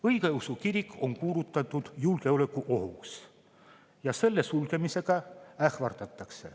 Õigeusu kirik on kuulutatud julgeolekuohuks ja ähvardatakse selle sulgemisega.